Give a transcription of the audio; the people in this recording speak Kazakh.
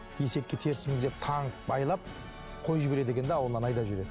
есекке теріс мінгізіп таңып байлап қойып жібереді екен де ауылынан айдап жібереді